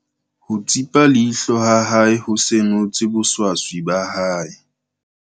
Ho tsipa leihlo ha hae ho senotse boswaswi ba hae.